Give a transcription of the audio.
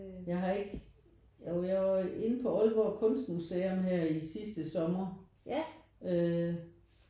Jeg har ikke jo jeg var inde på Aalborg kunstmuseum her i sidste sommer øh